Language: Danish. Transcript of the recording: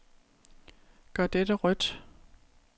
Gør dette rødt.